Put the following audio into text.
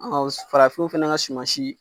farafinw fana ka sumasi.